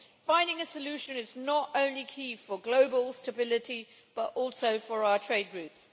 Finding a solution is not only key for global stability, but also for our trade routes.